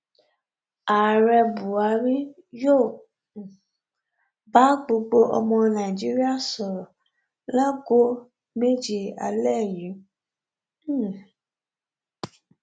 ààrẹ buhari yóò um bá gbogbo ọmọ nàíjíríà sọrọ láago méje alẹ yìí um